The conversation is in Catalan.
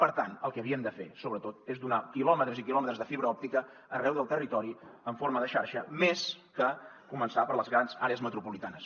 per tant el que havíem de fer sobretot és donar quilòmetres i quilòmetres de fibra òptica arreu del territori en forma de xarxa més que començar per les grans àrees metropolitanes